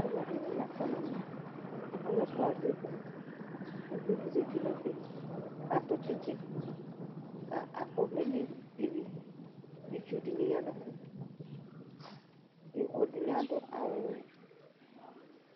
aloɛdini la kɔ n'ɛmɛ alo ɛfua azɛ ibɔ uvi di zati n'ɛfɛ k'ato tsitsi k'akɔ ɔvlɛ n'evi itsu dini ya n'ɛfɛ ɛdini ado awu